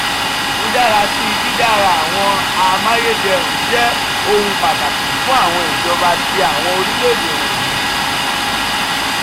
imudarasi didara awọn amayederun jẹ ohun pataki fun awọn ijọba ti awọn orilẹ-ede wọnyi.